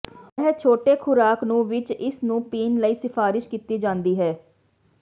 ਇਹ ਛੋਟੇ ਖ਼ੁਰਾਕ ਨੂੰ ਵਿੱਚ ਇਸ ਨੂੰ ਪੀਣ ਲਈ ਸਿਫਾਰਸ਼ ਕੀਤੀ ਜਾਦੀ ਹੈ